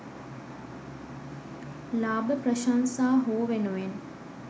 ලාභ ප්‍රශංසා හෝ වෙනුවෙන්